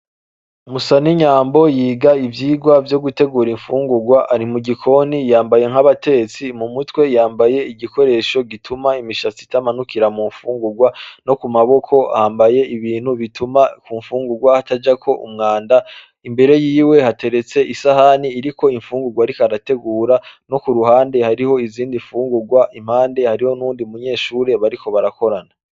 Musanunyambo yiga ivyigwa vyo gutegura imfungurwa ari mugikoni yambaye nk'abatetsi; mumutwe yambaye igikoresho gituma imishatsi idakorokera mumfungurwa nokumaboko yambaye ibintu bituma kumfungurwa hatajako umwanda. Imbere yiwe hateretse isahani iriko imfungurwa ariko arategura nokuruhande hariho izindi mfungurwa impande hariho n'uyundi munyeshure bariko barakorana.